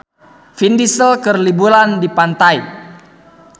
Vin Diesel keur liburan di pantai